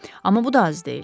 Amma bu da az deyil.